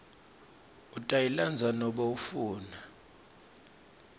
utayilandza nobe ufuna